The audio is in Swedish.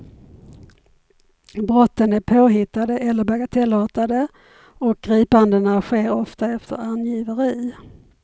Brotten är påhittade eller bagatellartade och gripandena sker ofta efter angiveri.